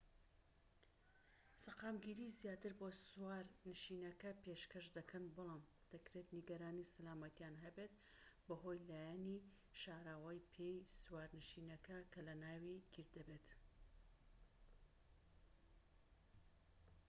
سەقامگیریی زیاتر بۆ سوارنشینەکە پێشکەش دەکەن بەڵام دەکرێت نیگەرانی سەلامەتیان هەبێت بەهۆی لایەنی شاراوەی پێی سوارنشینەکە کە لە ناوی گیر دەبێت